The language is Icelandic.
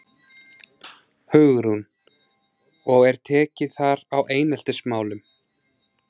Hugrún: Og er tekið þar á eineltismálum?